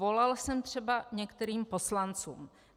Volal jsem třeba některým poslancům.